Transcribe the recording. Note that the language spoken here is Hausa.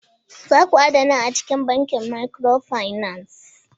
Za ku adana a cikin bankin micro finance!